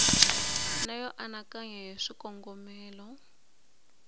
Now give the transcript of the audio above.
na yo anakanya hi swikongomelo